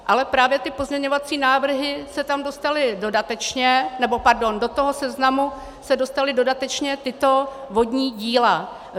Ale právě ty pozměňovací návrhy se tam dostaly dodatečně - nebo pardon, do toho seznamu se dostala dodatečně tato vodní díla.